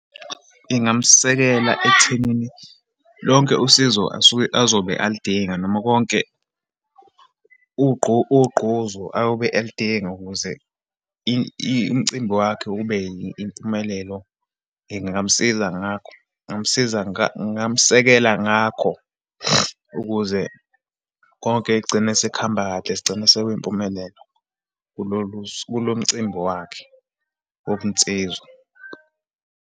Ngingamsekela ekuthenini lonke usizo asuke azobe alidinga, noma konke ugquzu ayobe elidinga ukuze umcimbi wakhe ube impumelelo. Ngingamsiza ngakho, ngingamsiza, ngingamsekela ngakho, ukuze konke kugcine sekuhamba kahle, sigcine sekuyimpumelelo kulolu kulo mcimbi wakhe wobunsizwa.